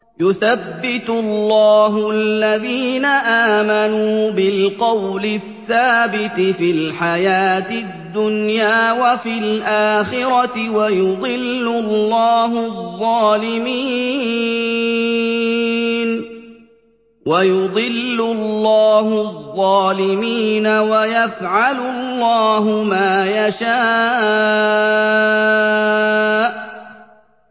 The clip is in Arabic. يُثَبِّتُ اللَّهُ الَّذِينَ آمَنُوا بِالْقَوْلِ الثَّابِتِ فِي الْحَيَاةِ الدُّنْيَا وَفِي الْآخِرَةِ ۖ وَيُضِلُّ اللَّهُ الظَّالِمِينَ ۚ وَيَفْعَلُ اللَّهُ مَا يَشَاءُ